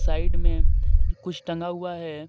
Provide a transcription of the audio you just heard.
Side में कुछ टंगा हुआ है।